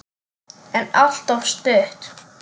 En alltof stutt.